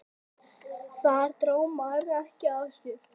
Þar dró Már ekki af sér.